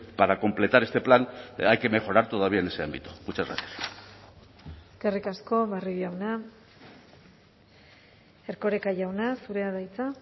para completar este plan hay que mejorar todavía en ese ámbito muchas gracias eskerrik asko barrio jauna erkoreka jauna zurea da hitza